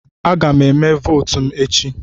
Aga m eme votu m echi.